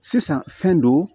Sisan fɛn don